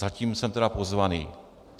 Zatím jsem tedy pozvaný.